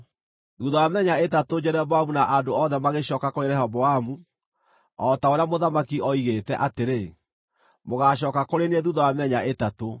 Thuutha wa mĩthenya ĩtatũ Jeroboamu na andũ othe magĩcooka kũrĩ Rehoboamu, o ta ũrĩa mũthamaki oigĩte atĩrĩ, “Mũgaacooka kũrĩ niĩ thuutha wa mĩthenya ĩtatũ.”